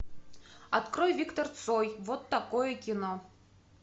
открой виктор цой вот такое кино